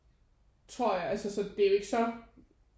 Tror jeg altså så det er jo ikke så